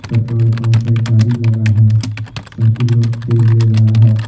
Petrol pump पे एक गाड़ी लगा है सभी लोग तेल ले रहा है।